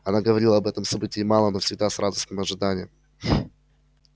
она говорила об этом событии мало но всегда с радостным ожиданием